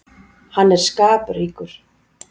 Hann er skapríkur.